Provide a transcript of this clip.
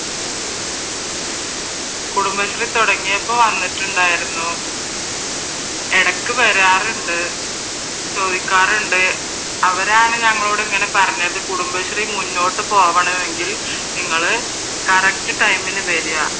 കുടുംബശ്രീ തുടങ്ങിയപ്പോ വന്നിട്ടുണ്ടായിരുന്നു ഇടക്ക് വരാറുണ്ട് ചോയിക്കാറുണ്ട് അവരാണ് ഞങ്ങളോട് ഇങ്ങനെ പറഞ്ഞത് കുടുംബശ്രീ മുന്നോട്ട് പോകണമെങ്കിൽ നിങ്ങൾ കറക്റ്റ് ടൈമിന് വരുക